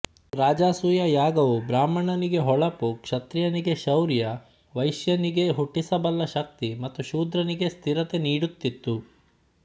ರಾಜಸೂಯ ಯಾಗವು ಬ್ರಾಹ್ಮಣನಿಗೆ ಹೊಳಪು ಕ್ಷತ್ರಿಯನಿಗೆ ಶೌರ್ಯ ವೈಶ್ಯನಿಗೆ ಹುಟ್ಟಿಸಬಲ್ಲ ಶಕ್ತಿ ಮತ್ತು ಶೂದ್ರನಿಗೆ ಸ್ಥಿರತೆ ನೀಡುತ್ತಿತ್ತು